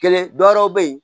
Kelen dɔ wɛrɛw bɛ yen